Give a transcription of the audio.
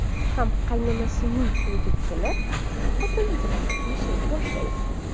ham qaynonasining uyiga kelib, xotini bilan yashay boshlaydi.